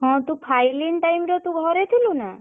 ହଁ ତୁ ଫାଇଲିନ୍ time ରେ ତୁ ଘରେ ଥିଲୁ ନା?